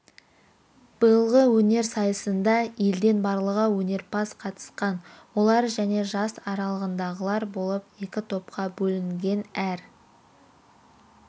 биылғы өнер сайысына елден барлығы өнерпаз қатысқан олар және жас аралығындағылар болып екі топқа бөлінген әр